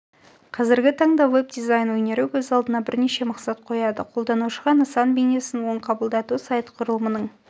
қазіргі таңда веб-дизайн өнері өз алдына бірнеше мақсат қояды қолданушыға нысан бейнесін оң қабылдату сайт құрылымының